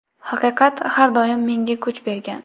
Haqiqat har doim menga kuch bergan.